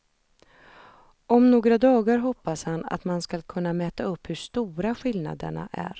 Om några dagar hoppas han att man skulle kunna mäta upp hur stora skillnaderna är.